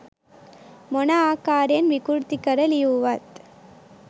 මොන ආකාරයෙන් විකෘති කර ලියුවත්